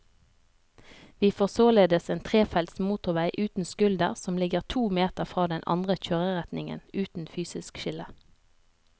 Vi får således en trefelts motorvei uten skulder som ligger to meter fra den andre kjøreretningen, uten fysisk skille.